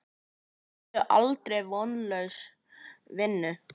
Segðu aldrei: Vonlaus vinna!